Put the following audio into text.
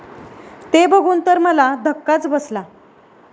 ते बघून तर मला धक्काच बसला.